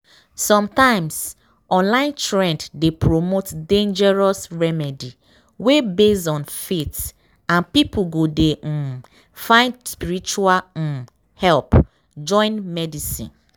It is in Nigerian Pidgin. sometimes online trend dey promote dangerous remedy wey base on faith and people go dey um find spiritual um help join medicine.